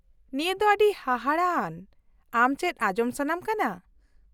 -ᱱᱤᱭᱟᱹ ᱫᱚ ᱟᱹᱰᱤ ᱦᱟᱦᱟᱲᱟᱜ ᱟᱱ , ᱟᱢ ᱪᱮᱫ ᱟᱸᱡᱚᱢ ᱥᱟᱱᱟᱢ ᱠᱟᱱᱟ ?